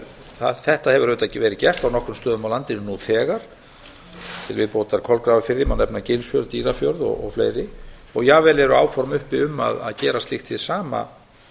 vatnsskiptum þetta hefur auðvitað verið gert á nokkrum stöðum á landinu nú þegar til viðbótar kolgrafafirði má nefna gilsfjörð dýrafjörð og fleiri og jafnvel eru áform uppi um að gera slíkt hið sama